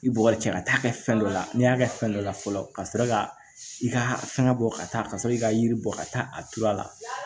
I b'o ka cɛ ka taa kɛ fɛn dɔ la n'i y'a kɛ fɛn dɔ la fɔlɔ ka sɔrɔ ka i ka fɛngɛ bɔ ka taa ka sɔrɔ i ka yiri bɔ ka taa a tuuru a la